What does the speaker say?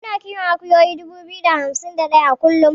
Muna kiwon akuyoyi dubu biyu da hamsin da ɗaya kullun.